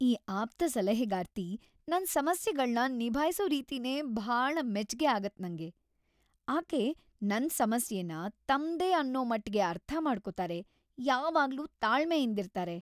ಈ ಆಪ್ತಸಲಹೆಗಾರ್ತಿ ನನ್ ಸಮಸ್ಯೆಗಳ್ನ ನಿಭಾಯ್ಸೋ ರೀತಿನೇ ಭಾಳ ಮೆಚ್ಗೆ ‌ಆಗತ್ತ್ ನಂಗೆ. ಆಕೆ ನನ್‌ ಸಮಸ್ಯೆನ ತಮ್ದೇ ಅನ್ನೋಮಟ್ಗೆ ಅರ್ಥ ಮಾಡ್ಕೊತಾರೆ, ಯಾವಾಗ್ಲೂ ತಾಳ್ಮೆಯಿಂದಿರ್ತಾರೆ.